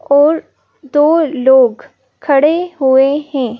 और दो लोग खड़े हुएं हैं।